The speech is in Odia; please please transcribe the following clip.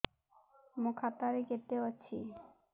ମୋ ଖାତା ରେ କେତେ ଅଛି